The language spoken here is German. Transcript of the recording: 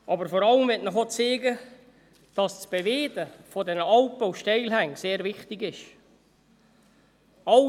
Aber vor allem möchte ich Ihnen auch zeigen, dass das Beweiden dieser Alpen und Steilhänge sehr wichtig ist.